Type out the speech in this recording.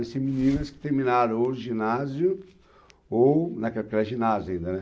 Vai ser meninas que terminaram o ginásio, ou, naquela época era ginásio ainda, né?